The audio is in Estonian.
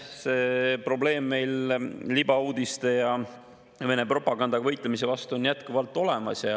See probleem, et me peame libauudiste ja Vene propaganda vastu võitlema, on jätkuvalt olemas.